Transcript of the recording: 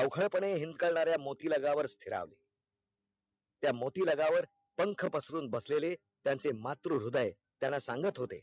अवखळपणे हिंद करणाऱ्या मोती लगा वर स्थिरावली त्या मोती लगा वर पंख पसरून बसलेले त्याचे मातृ हृदय त्यांना सांगत होते